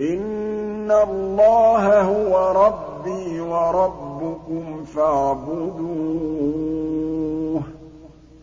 إِنَّ اللَّهَ هُوَ رَبِّي وَرَبُّكُمْ فَاعْبُدُوهُ ۚ